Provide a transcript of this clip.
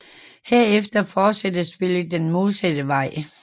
Herefter fortsætter spillet den modsatte vej